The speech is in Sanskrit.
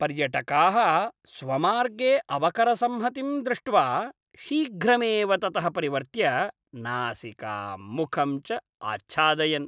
पर्यटकाः स्वमार्गे अवकरसंहतिं दृष्ट्वा शीघ्रमेव ततः परिवर्त्य नासिकां मुखं च आच्छादयन्।